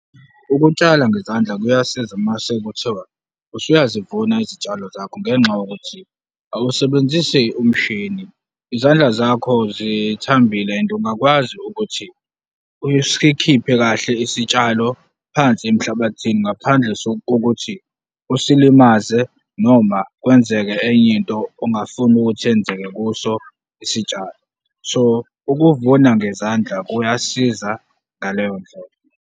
Ukutshala ngezandla kuyasiza mase kuthiwa usuyazivuna izitshalo zakho ngenxa yokuthi awusebenzisi umshini, izandla zakho zithambile and ungakwazi ukuthi usikhiphe kahle isitshalo phansi emhlabathini ngaphandle kokuthi usilimaze noma kwenzeke enye into ongafuni ukuthi yenzeke kuso isitshalo, so ukuvuna ngezandla kuyasiza ngaleyo ndlela.